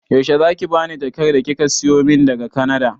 Yaushe zaki bani jakar da kika siyo min daga kanada